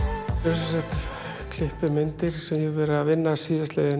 sem sagt klippimyndir sem ég hef verið að vinna síðastliðin